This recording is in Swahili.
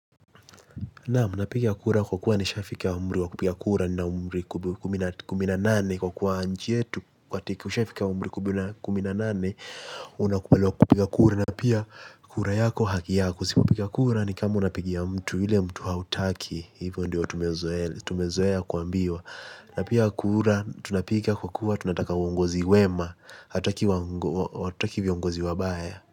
Naam, napiga kura kwa kuwa nishafika umri wa kupiga kura nina umri kumi na nane kwa kuwa nchi yetu ukishafika umri kumi na kumi na nane unakubaliwa kupiga kura na pia kura yako haki yako sisi hupiga kura nikama unapigia mtu yule mtu hautaki, hivo ndio tumezoea kuambiwa. Na pia kura tunapiga kwa kuwa tunataka uongozi wema, hatutaki viongozi wabaya.